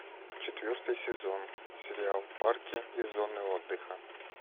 четвертый сезон сериал парки и зоны отдыха